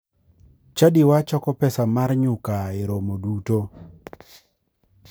Chadiwa choko pesa mar nyuka e romo duto.